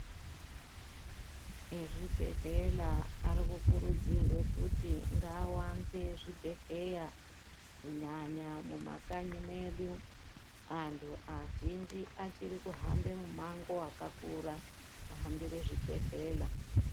Ezvebhedhlera arikukurudzirwa kuti ngawanze zvibhedhleya kunyanya mumakanyi mwedu. Anhu azhinji achiri kuhambe mumango wakakura kuhambire zvibhehlera.